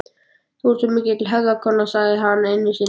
Þú ert svo mikil hefðarkona, sagði hann einu sinni.